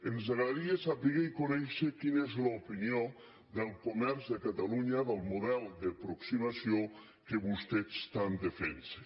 ens agradaria saber i conèixer quina és l’opinió del comerç de catalunya del model d’aproximació que vostès tant defensen